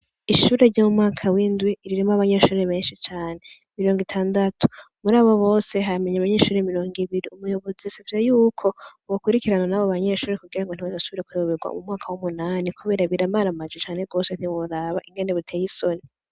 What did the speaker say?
Ishure ryo mu mwaka w'indwi, ririmwo abanyeshuri benshi cane; mirongo itandatu; murabo bose, hamenye abanyeshure mirongo ibiri; umuyobozi yasavye y'uko, bokurikirana n'abo banyeshure kugira ngo ntibazosubire kuyoberwa mu mwaka w'umunani kubera biramaramaje cane rwose ntiworaba ukuntu biteye isoni.